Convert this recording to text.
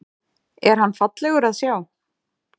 Er hann fallegur að sjá?